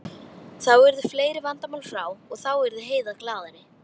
Þá yrðu fleiri vandamál frá og þá yrði Heiða glaðari.